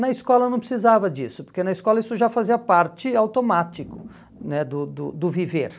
Na escola não precisava disso, porque na escola isso já fazia parte automático né do do do viver.